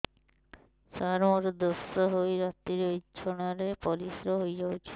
ସାର ମୋର ଦୋଷ ହୋଇ ରାତିରେ ବିଛଣାରେ ପରିସ୍ରା ହୋଇ ଯାଉଛି